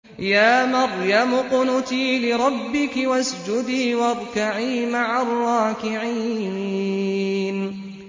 يَا مَرْيَمُ اقْنُتِي لِرَبِّكِ وَاسْجُدِي وَارْكَعِي مَعَ الرَّاكِعِينَ